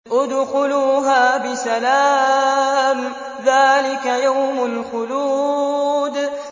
ادْخُلُوهَا بِسَلَامٍ ۖ ذَٰلِكَ يَوْمُ الْخُلُودِ